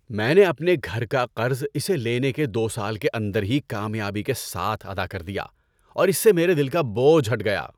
میں نے اپنے گھر کا قرض اسے لینے کے دو سال کے اندر ہی کامیابی کے ساتھ ادا کر دیا اور اس سے میرے دل کا بوجھ ہٹ گیا۔